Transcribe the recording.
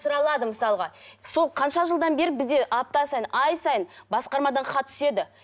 сұралады мысалға сол қанша жылдан бері бізде апта сайын ай сайын басқармадан хат түседі